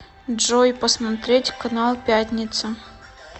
джой посмотреть канал пятница